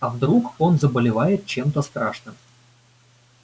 а вдруг он заболевает чем-то страшным